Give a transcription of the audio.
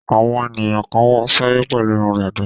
Àwọn ènìyàn kan wá sáyé pẹ̀lú irun dàda.